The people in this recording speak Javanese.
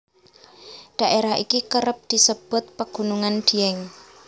Daerah iki kerep disebut pegunungan Dieng